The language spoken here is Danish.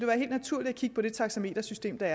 være helt naturligt at kigge på det taxametersystem der